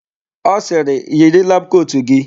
Ọ sịrị, "yiri labụ kotu gị"!